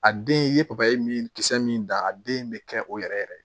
A den i ye papaye min kisɛ min da a den bɛ kɛ o yɛrɛ yɛrɛ